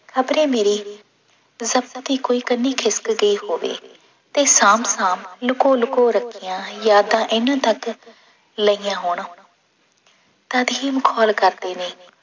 ਖ਼ਬਰੇ ਮੇਰੀ ਵਕਤ ਦੀ ਕੋਈ ਕੰਨੀ ਖਿਸਕ ਗਈ ਹੋਵੇ ਤੇ ਸਾਂਭ ਸਾਂਭ ਲੁਕੋ ਲੁਕੋ ਰੱਖੀਆਂ ਯਾਦਾਂ ਇਹਨਾਂ ਢੱਕ ਲਈਆਂ ਹੋਣ ਤਦ ਹੀ ਮਖੋਲ ਕਰਦੇ ਨੇ।